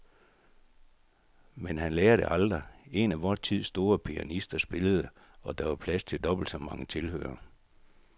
Men han lærer det aldrig. En af vor tids store pianister spillede, og der var plads til dobbelt så mange tilhørere.